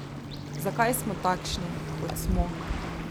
Zakaj smo takšni, kot smo?